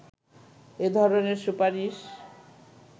এ ধরণের সুপারিশ